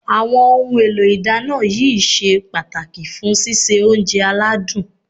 Àwọn ohun èlò ìdáná yìí ṣe pàtàkì fún síse oúnjẹ aládùn